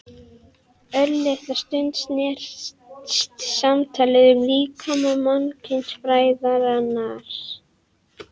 Örlitla stund snerist samtalið um líkama mannkynsfræðarans.